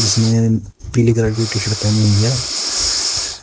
जिसने पीली कलर की टीशर्ट पहनी हुई है।